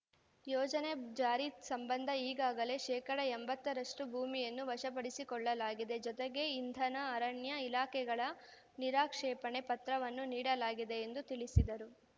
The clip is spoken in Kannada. ಯೋಜನೆ ಜಾರಿ ಸಂಬಂಧ ಈಗಾಗಲೇ ಶೇಕಡಾ ಎಂಬತ್ತರಷ್ಟು ಭೂಮಿಯನ್ನು ವಶಪಡಿಸಿಕೊಳ್ಳಲಾಗಿದೆ ಜೊತೆಗೆ ಇಂಧನ ಅರಣ್ಯ ಇಲಾಖೆಗಳ ನಿರಾಕ್ಷೇಪಣ ಪತ್ರವನ್ನು ನೀಡಲಾಗಿದೆ ಎಂದು ತಿಳಿಸಿದರು